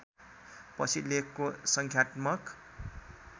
पछि लेखको सङ्ख्यात्मक